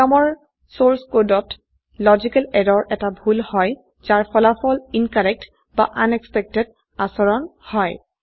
প্ৰোগ্ৰামৰ source কোডত logical এৰৰ এটা ভুল হয় যাৰ ফলাফল ইনকৰেক্ট বা আনএক্সপেক্টেড আচৰণ হয়